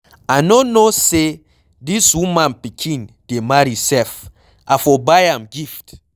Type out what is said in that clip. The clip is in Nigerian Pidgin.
I no know say dis woman pikin dey marry sef, I for buy am gift.